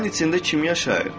Sənin içində kim yaşayır?